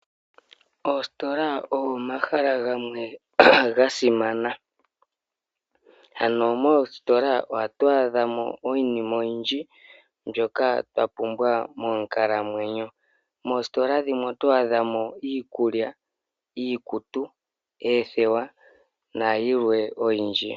Oositola ogo omahala gamwe gasimana, moositola ohatu adhamo iinima oyindji mbyoka twapumbwa monkalamwenyo, moositola dhimwe oto adhamo iikulya, iikutu, oothewa nayilwe oyindji.